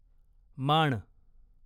माण